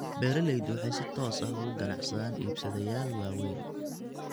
Beeraleydu waxay si toos ah uga ganacsadaan iibsadayaal waaweyn.